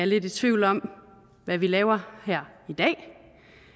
lidt i tvivl om hvad vi laver her